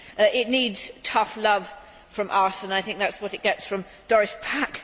It needs tough love from us and I think that is what it gets from Doris Pack.